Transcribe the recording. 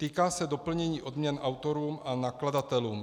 Týká se doplnění odměn autorům a nakladatelům.